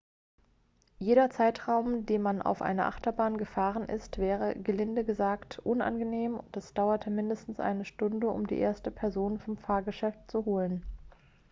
jeder zeitraum den man auf einer achterbahn gefangen ist wäre gelinde gesagt unangenehm und es dauerte mindestens eine stunde um die erste person vom fahrgeschäft zu holen